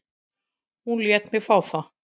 Hún lét mig fá það.